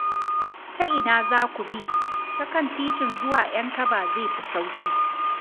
Ta ina za ku bi? Ta kan titin zuwa Ƴankaba zai fi sauƙi.